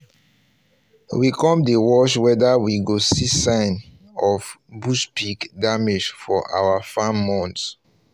we um come dey watch wether we go see sign sign of bush pig damage for our yam mounds um